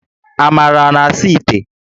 Amara a na-asa íté?